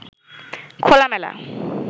খোলামেলা